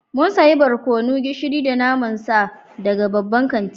Mun sayi barkono, gishiri da naman sa daga babban kanti